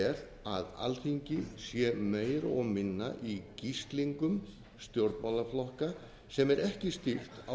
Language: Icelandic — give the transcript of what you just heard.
er að alþingi sé meira og minna í gíslingu stjórnmálaflokka sem er ekki stýrt á